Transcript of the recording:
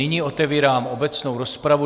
Nyní otevírám obecnou rozpravu.